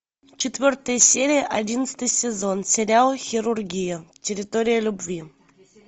четвертая серия одиннадцатый сезон сериал хирургия территория любви